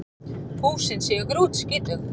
Húsin séu grútskítug